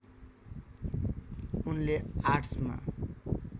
उनले आर्टस्मा